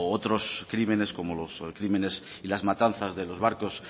otros crímenes como los crímenes y las matanzas de los barcos